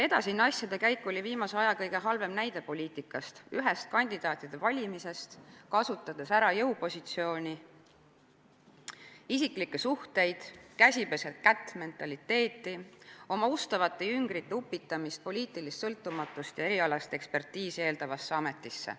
Edasine asjade käik oli viimase aja kõige halvem näide poliitikast, kandidaatide valimisest, mille käigus kasutati ära jõupositsiooni, isiklikke suhteid, käsi-peseb-kätt-mentaliteeti ning upitati oma ustavad jüngrid poliitilist sõltumatust ja erialast ekspertiisi eeldavasse ametisse.